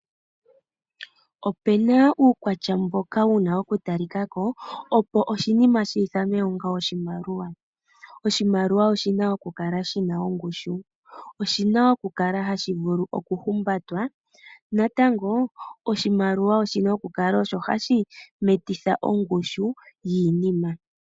Opu na uukwatya mboka wu na okutalikako opo oshinima shiithanwe onga oshimaliwa. Oshimaliwa oshi na okukala shi na ongushu, oshi na okukala hashi vulu okuhumbatwa natango oshimaliwa oshi na okukala osho hashi metitha ongushu yiinima.